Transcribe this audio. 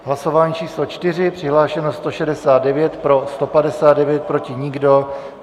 Hlasování číslo 4, přihlášeno 169, pro 159, proti nikdo.